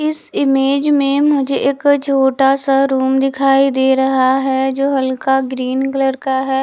इस इमेज में मुझे एक छोटा सा रूम दिखाई दे रहा है जो हल्का ग्रीन कलर का है।